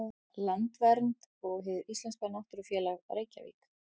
Landvernd og Hið íslenska náttúrufræðifélag, Reykjavík.